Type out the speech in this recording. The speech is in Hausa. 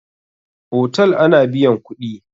Otal ana biyan kuɗi.